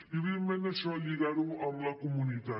i evidentment això lligar ho amb la comunitat